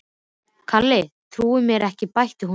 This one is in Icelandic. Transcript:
Kalli trúir mér ekki bætti hún við.